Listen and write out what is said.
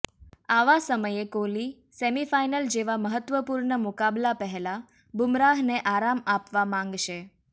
આવા સમયે Kohli semifinal જેવા મહત્ત્વપૂર્ણ મુકાબલા પહેલા બુમરાહને આરામ આપવા માંગશે